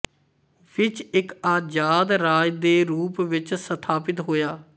ਵਿੱਚ ਇੱਕ ਆਜਾਦ ਰਾਜ ਦੇ ਰੂਪ ਵਿੱਚ ਸਥਾਪਤ ਹੋਇਆ